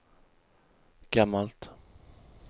gammalt